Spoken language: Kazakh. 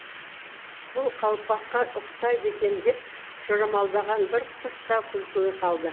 бұл қалпаққа ұқсайды екен деп жорамалдаған бір құс та күлкіге қалды